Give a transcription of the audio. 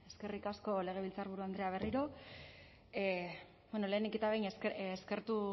eskerrik asko legebiltzarburu andrea berriro bueno lehenik eta behin eskertu